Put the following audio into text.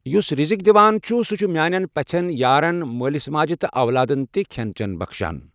یُس رزق دِوان چھُ، سُہ چھُ میانین پژھیٛن، یارن، مٲلس ماجہ تہٕ اولادن تہ کھیٛن چیٛن بخشان۔